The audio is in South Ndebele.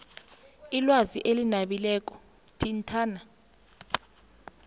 ilwazi elinabileko thintana